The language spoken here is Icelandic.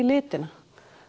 litina